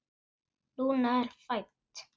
Lúna er fædd.